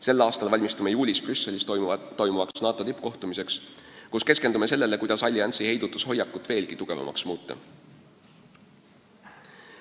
Sel aastal valmistume juulis Brüsselis toimuvaks NATO tippkohtumiseks, kus keskendume sellele, kuidas alliansi heidutushoiakut veelgi tugevamaks muuta.